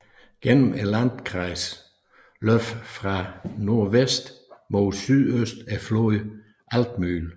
Gennem landkreisen løber fra nordvest mod syøst floden Altmühl